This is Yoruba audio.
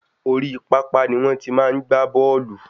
Orí papa ni wọ́n ti máa n gba bóòlù